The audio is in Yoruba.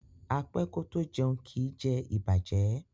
A pẹ ko to jẹun, kii jẹ ibajẹ